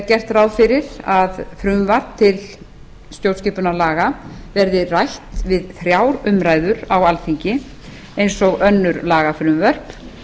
gert ráð fyrir að frumvarp til stjórnskipunarlaga verði rætt við þrjár umræður á alþingi eins og önnur lagafrumvörp